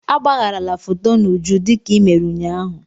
Agbagharala foto n'uju dịka i mere ụnyaahụ!